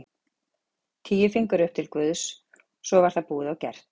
Tíu fingur upp til Guðs svo var það búið og gert.